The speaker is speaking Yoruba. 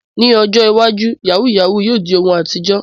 Ní ọjọ́ iwájú, yahoo yahoo yóò di ohun àtijọ́.